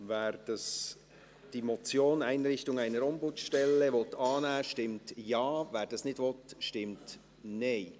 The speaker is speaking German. Wer die Motion «Einrichtung einer Ombudsstelle» annehmen möchte, stimmt Ja, wer dies nicht will, stimmt Nein.